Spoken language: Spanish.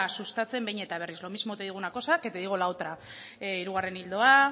sustatzen behin eta berriz lo mismo te digo una cosa que te digo la otra hirugarren ildoa